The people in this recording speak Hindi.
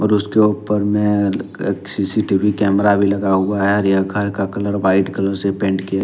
और उसके ऊपर में एक सी_सी_टी_वी कैमरा भी लगा हुआ है और यह घर का कलर वाइट कलर से पेंट किया--